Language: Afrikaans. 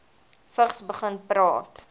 vigs begin praat